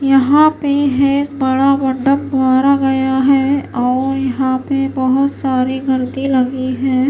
यहां पे है बड़ा गया है और यहां पे बहुत सारे गलती लगी है।